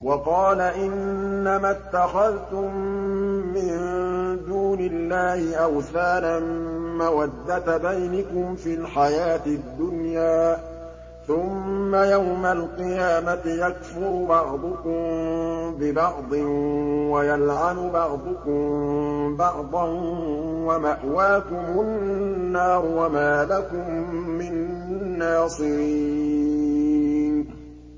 وَقَالَ إِنَّمَا اتَّخَذْتُم مِّن دُونِ اللَّهِ أَوْثَانًا مَّوَدَّةَ بَيْنِكُمْ فِي الْحَيَاةِ الدُّنْيَا ۖ ثُمَّ يَوْمَ الْقِيَامَةِ يَكْفُرُ بَعْضُكُم بِبَعْضٍ وَيَلْعَنُ بَعْضُكُم بَعْضًا وَمَأْوَاكُمُ النَّارُ وَمَا لَكُم مِّن نَّاصِرِينَ